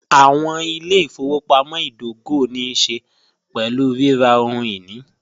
Awọn ilẹ̀-ifọwọpamọ̀ idògò ní ṣẹ̀ pẹ̀lú rírà ohun-ini.